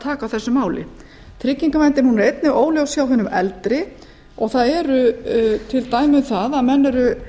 taka á þessu máli tryggingaverndin er einnig óljós hjá hinum eldri og það eru til dæmi um það að menn eru